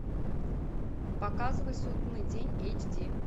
показывай судный день эйч ди